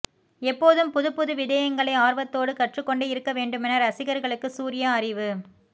எப்போதும் புதுப்புது விடயங்களை ஆர்வத்தோடு கற்றுக்கொண்டே இருக்க வேண்டுமென இரசிகர்களுக்கு சூர்யா அறிவு